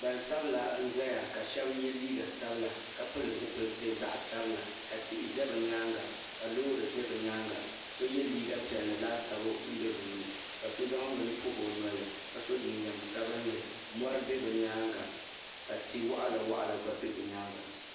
Gbansabila n-zaya ka ye liiga sabila ka pili zipiliti zaɣ'sabila ka tihi za bɛ nyaaŋa ka loori za bɛ nyaaŋa so ye liiga piɛlli laasabu m-be bɛ ni ka so zaŋ bini pɔbi o noli ka so jinjam sabinli mɔri be bɛ nyaaŋa ka ti'waɣila waɣila gba be bɛ nyaaŋa.